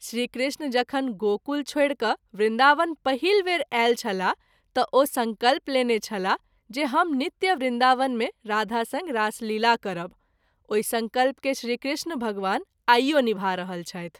श्री कृष्ण जखन गोकुल छोड़ि क’ वृन्दावन पहिल वेर आयल छलाह त’ ओ संकल्प लेने छलाह जे हम नित्य वृन्दावन मे राधा संग रासलीला करब, ओहि संकल्प के श्री कृष्ण भगवान आइयो नीभा रहल छथि।